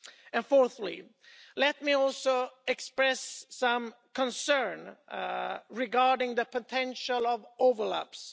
And fourthly, let me also express some concern regarding the potential for overlaps.